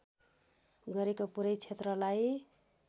गरेको पूरै क्षेत्रलाई